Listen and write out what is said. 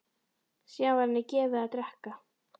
Síðan var henni gefið að drekka.